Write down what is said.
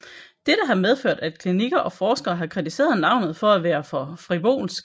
Dette har medført at klinikker og forskere har kritiseret navnet for at være for frivolsk